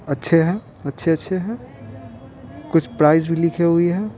अच्छे हैं अच्छे-अच्छे हैं कुछ प्राइस भी लिखे हुए हैं।